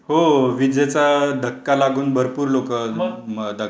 हो विजेचा धक्का लागून भरपूर लोकं दगावतात.